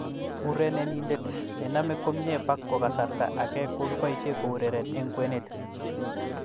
Urerenindet nename komnyebako kasarta ake kokiboisie koureren eng kwenet.